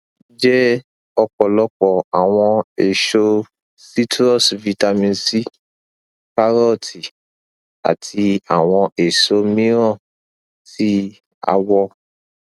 jẹ ọpọlọpọ awọn eso citrus vitamin c karooti ati awọn eso miiran ti awọ